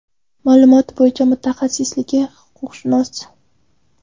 Ma’lumoti bo‘yicha mutaxassisligi huquqshunos.